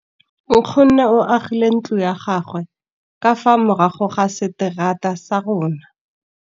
Nkgonne o agile ntlo ya gagwe ka fa morago ga seterata sa rona.